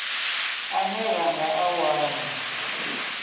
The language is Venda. ane ra nga a wana